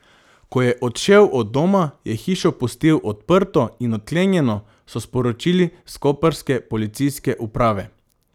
Ko je odšel od doma, je hišo pustil odprto in odklenjeno, so sporočili s koprske policijske uprave.